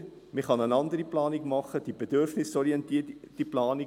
Oder man kann eine andere Planung machen: die bedürfnisorientierte Planung.